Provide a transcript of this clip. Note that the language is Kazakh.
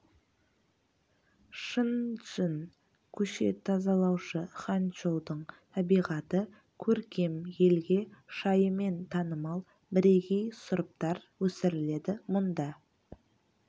чын джынь көше тазалаушы ханчжоудың табиғаты көркем елге шайымен танымал бірегей сұрыптар өсіріледі мұнда